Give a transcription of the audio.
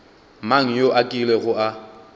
mang yo a kilego a